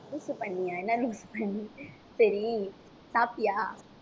loose பன்னியா சரி, சாப்டியா